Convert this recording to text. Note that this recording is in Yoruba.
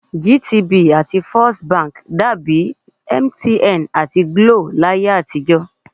GTB àti First Bank dàbi MTN àti GLO láyé àtijọ́